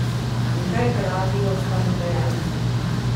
In kaj pravijo stanodajalci?